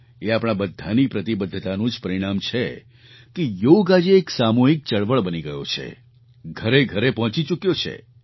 એ આપણા બધાની પ્રતિબદ્ધતાનું જ પરિણામ છે કે યોગ આજે એક સામૂહિક ચળવળ બની ગયો છે ઘરેઘરે પહોંચી ચૂક્યો છે